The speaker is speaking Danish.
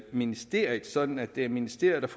ministeriet sådan at det er ministeriet